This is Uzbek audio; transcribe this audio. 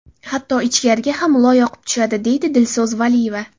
Hatto ichkariga ham loy oqib tushadi, deydi Dilso‘z Valiyeva.